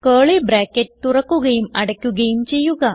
curly bracket തുറക്കുകയും അടക്കുകയും ചെയ്യുക